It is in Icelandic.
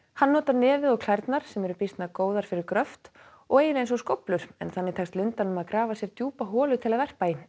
hann notar nefið og klærnar sem eru býsna góðar fyrir gröft og eiginlega eins og skóflur þannig tekst lundanum að grafa sér djúpa holu til að verpa í